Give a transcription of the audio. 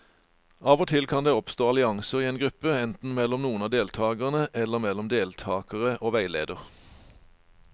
Av og til kan det oppstå allianser i en gruppe, enten mellom noen av deltakerne eller mellom deltakere og veileder.